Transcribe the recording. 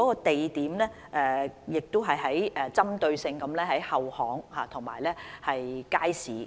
地點方面，會針對性在後巷和街市這些地點。